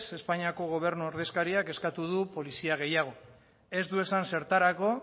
espainiako gobernu ordezkariak eskatu du polizia gehiago ez du esan zertarako